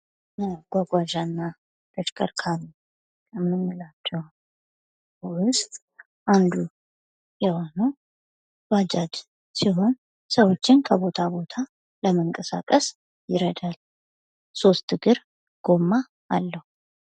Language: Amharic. ከመጓጓዣና ተሽከርካሪዎች መካከል አንዱ የሆነው ባጃጅ ሲሆን ሰዎችን ከቦታ ቦታ ለመንቀሳቀስ ይረዳል። ሶስት እግር ጎማ አለው።